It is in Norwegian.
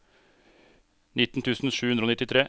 nitten tusen sju hundre og nittitre